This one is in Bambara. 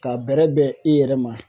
Ka bɛrɛ bɛn i yɛrɛ ma